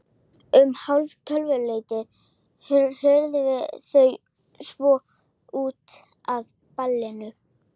Um hálftvöleytið hurfu þau svo út af ballinu.